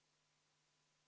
V a h e a e g